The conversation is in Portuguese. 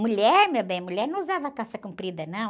Mulher, meu bem? Mulher não usava calça comprida, não.